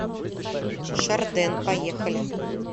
шарден поехали